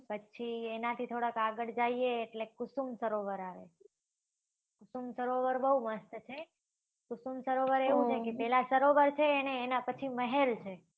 પછી એના થી થોડા આગળ જઈએ તો કુસુમ સરોવર આવે કુસુમ સરોવર બઉ મસ્ત છે કુસુમ સરોવર એવું છ કે પેલા સરોવર છે ને એના પછી મહેલ છે